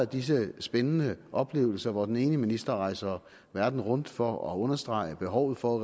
disse spændende oplevelser hvor den ene minister rejser verden rundt for at understrege behovet for